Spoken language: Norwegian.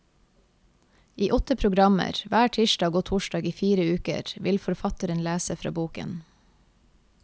I åtte programmer, hver tirsdag og torsdag i fire uker, vil forfatteren lese fra boken.